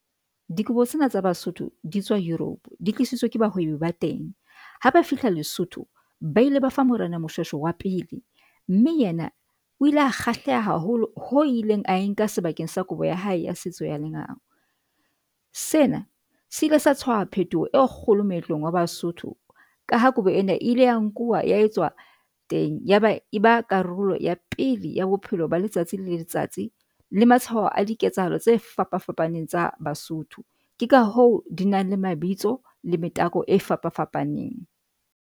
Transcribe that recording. Dikobo tsena tsa Basotho di tswa Europe, di tlisitswe ke bahwebi ba teng ha ba fihla Lesotho ba ile ba fa Morena Moshweshwe wa pele mme yena o ile a kgahleha haholo ho ileng a enka sebakeng sa kobo ya hae ya setso ya lengolo. Sena se ile sa tshwaha phetoho e kgolo moetlong wa Basotho ka ha kobo ena e ile ya nkuwa etswa teng yaba e ba karolo ya pele ya bo bophelo ba letsatsi le letsatsi le matshwaho a di ketsahalo tse fapafapaneng tsa Basotho. Ke ka hoo di nang le mabitso le metako e fapafapaneng.